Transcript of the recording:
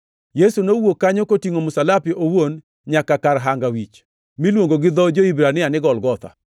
Yesu nowuok kanyo kotingʼo msalape owuon nyaka kar Hanga Wich (miluongo gi dho jo-Hibrania ni Golgotha).